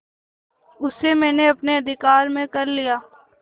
उसे मैंने अपने अधिकार में कर लिया